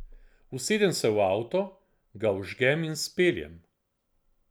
Usedem se v avto, ga vžgem in speljem.